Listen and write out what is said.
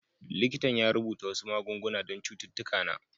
Likitan ya rubuta wasu magunguna don cututtuka na.